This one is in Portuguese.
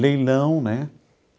Leilão né.